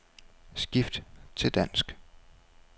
Skift til dansk.